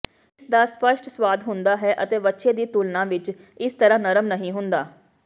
ਇਸਦਾ ਸਪੱਸ਼ਟ ਸਵਾਦ ਹੁੰਦਾ ਹੈ ਅਤੇ ਵੱਛੇ ਦੀ ਤੁਲਨਾ ਵਿਚ ਇਸ ਤਰ੍ਹਾਂ ਨਰਮ ਨਹੀਂ ਹੁੰਦਾ